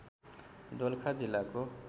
दोलखा जिल्लाको